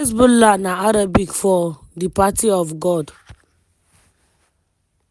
hezbollah na arabic for “di party of god”.